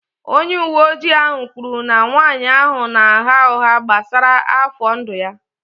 Onye uwe ojii ahụ kwuru na nwanyị ahụ na-agha ụgha gbasara afọ ndụ ya